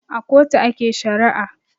A kotu ake shari'a